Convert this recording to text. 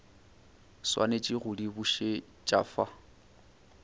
swanetše go di bušet afa